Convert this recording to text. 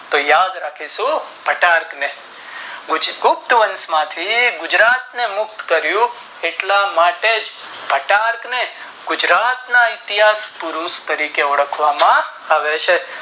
તો યાદ રાખીશું ઘટાક ને ગુપ્ત વંશ માંથી ગુજરાત ને યુદ્ધ કરિયું એટલા માટે જ ઘટાક ને ગુજરાત ના ઇતિહાસ પુરૂષ તરીકે ઓળખવામાં આવે છે